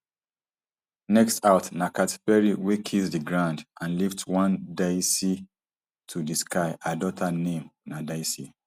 next out na katy perry wey kiss di ground and lift one daisy to di sky her daughter name na daisy